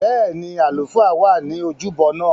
Bẹ́ẹ̀ni, àlùfáà wà ní ojúbọ náà